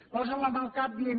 posen la mà al cap dient